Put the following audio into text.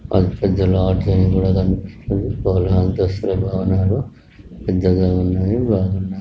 అది పెద్ద లాడ్జ్ లాగా కనిపిస్తుంది. మూడు అంతస్తుల భవనాలు పెద్దగా ఉన్నాయి బాగున్నయి.